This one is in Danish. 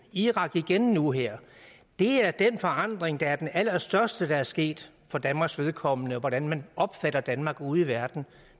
i irak igen nu her det er den forandring der er den allerstørste der er sket for danmarks vedkommende i hvordan man opfatter danmark ude i verden